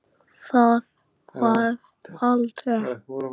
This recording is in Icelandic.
Það varð aldrei!